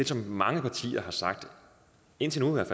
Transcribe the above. som mange partier har sagt indtil nu i hvert